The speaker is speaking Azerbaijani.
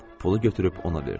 Pulu götürüb ona verdim.